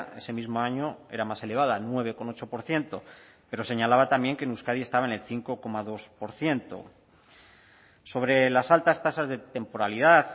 ese mismo año era más elevada nueve coma ocho por ciento pero señalaba también que en euskadi estaba en el cinco coma dos por ciento sobre las altas tasas de temporalidad